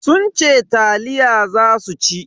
Sun ce taliya za su ci.